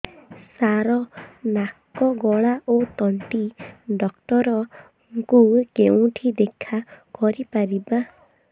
ସାର ନାକ ଗଳା ଓ ତଣ୍ଟି ଡକ୍ଟର ଙ୍କୁ କେଉଁଠି ଦେଖା କରିପାରିବା